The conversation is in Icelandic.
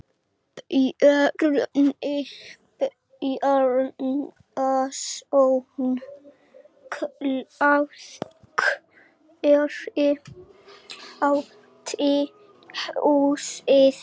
Bjarni Bjarnason klæðskeri átti húsið.